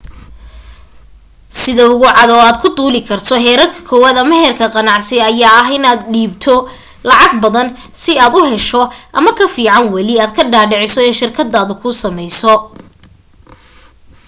sida ugu cad oo aad ku duuli karto heerka kowad ama heerka ganacsi ayaa ah in aad dhiibto lacag badan sii aad u hesho ama kafiican wali aad ka dhaadhiciso in shirkadaada kuu sameyso